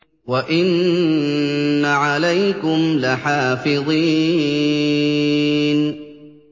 وَإِنَّ عَلَيْكُمْ لَحَافِظِينَ